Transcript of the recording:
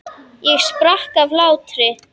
Og sprakk af hlátri.